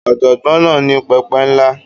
Ọ̀jọ̀gbọ́n náà ní pẹpẹ ńlá.